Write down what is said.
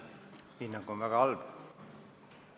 Hinnang on väga halb.